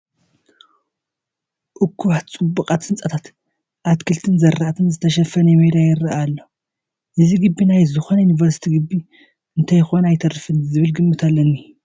እኩባት ፅቡቓት ህንፃታት፣ ኣትክልትን ዝራእትን ዝተሸፈነ ሜዳ ይርአ ኣሎ፡፡ እዚ ግቢ ናይ ዝኾነ ዩኒቨርሲቲ ግቢ እንተይኮነ ኣይተርፍን ዝብል ግምት ኣለኒ፡፡